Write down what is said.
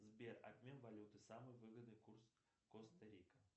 сбер обмен валюты самый выгодный курс коста рика